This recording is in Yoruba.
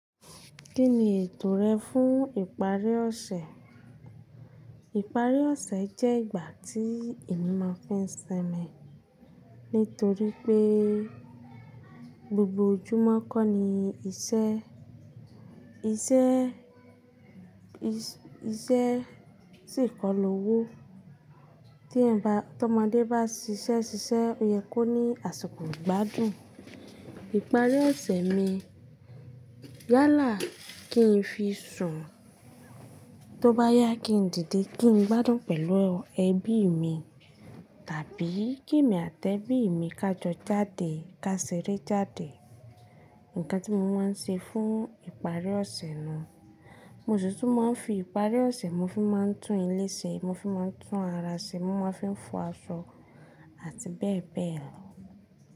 Kí ni ètò rẹ fún ìparí ọ̀sẹ̀? Ìparí ọ̀sẹ̀ jẹ́ ìgbà tí èmi máa ń fi ń ṣin mi. Nítorí pé gbogbo ojúmọ́ kọ́ ni iṣẹ́, iṣẹ́, iṣẹ́ sì kọlò owó. Tí ọmọdé bá ṣiṣẹ́ ṣiṣẹ́, ó yẹ kó ní àsikò igbádùn. Ìparí ọ̀sẹ̀ mi yálà kí n fi sùn, tó bá yá kí n dìde, kí n gbádùn pẹ̀lú ẹbí mi. Tàbí kí èmi àti ẹbí mi ká jọ jáde, ká ṣeré jáde. Ǹkan tí mo máa ń ṣe fún ìparí ọ̀sẹ̀ náà. Mo sì tún máa ń fi ìparí ọ̀sẹ̀ mi fi máa ń tún ilé ṣe, mo fi máa ń tún ara ṣe, mo máa ń fi ń fọ aṣọ àti bẹ́ẹ̀ bẹ́ẹ̀ lọ.